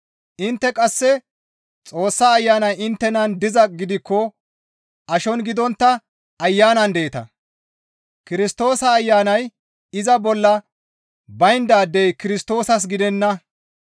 Intte qasse Xoossa Ayanay inttenan dizaa gidikko ashon gidontta Ayanan deeta; Kirstoosa Ayanay iza bolla bayndaadey Kirstoosas gidenna.